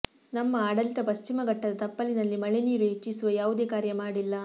ನಮ್ಮ ಆಡಳಿತ ಪಶ್ಚಿಮ ಘಟ್ಟದ ತಪ್ಪಲಿನಲ್ಲಿ ಮಳೆ ನೀರು ಹೆಚ್ಚಿಸುವ ಯಾವುದೇ ಕಾರ್ಯ ಮಾಡಿಲ್ಲ